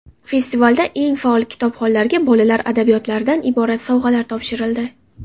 Festivalda eng faol kitobxonlarga bolalar adabiyotlaridan iborat sovg‘alar topshirildi.